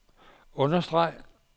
understreg